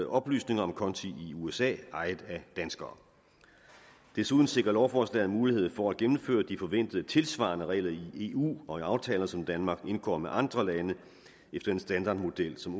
oplysning om konti i usa ejet af danskere desuden sikrer lovforslaget mulighed for at gennemføre de forventede tilsvarende regler i eu og i aftaler som danmark indgår med andre lande efter en standardmodel som